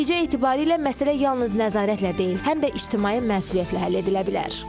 Nəticə etibarilə məsələ yalnız nəzarətlə deyil, həm də icraçı məsuliyyətlə həll edilə bilər.